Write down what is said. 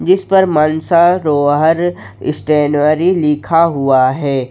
इस पर मानसरोवर स्टेनरी लिखा हुआ है।